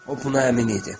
O buna əmin idi.